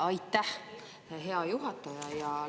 Jaa, aitäh, hea juhataja!